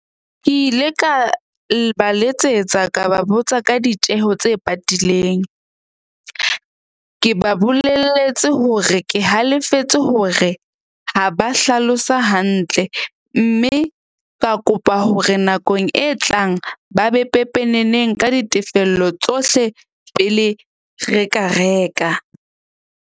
Ke ile ka ba letsetsa ka ba botsa ka ditjeho tse patileng. Ke ba bolelletse hore ke halefetse hore ha ba hlalosa hantle. Mme ka kopa hore nakong e tlang ba be pepeneneng ka ditefello tsohle pele re ka reka.